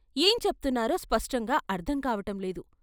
ఏం చెప్తున్నారో స్పష్టంగా అర్ధం కావటంలేదు.